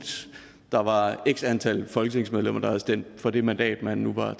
der var x antal folketingsmedlemmer der havde stemt for det mandat man nu var